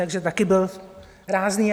Takže taky byl rázný.